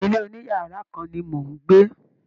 ilé oniyara kan ni mò ń gbé.